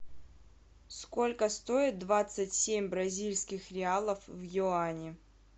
сколько стоит двадцать семь бразильских реалов в юани